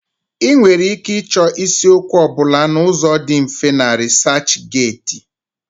Ị nwere ike ịchọ isiokwu ọ bụla n'ụzọ dị mfe na RịsaachGeti.